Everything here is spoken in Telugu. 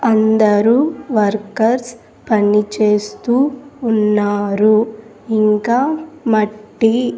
అందరూ వర్కర్స్ పనిచేస్తూ ఉన్నారు ఇంకా మట్టి--